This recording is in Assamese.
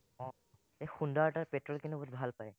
আহ এই সোনদাৰ তাত পেট্ৰোল কিন্তু বহুত ভাল পায়,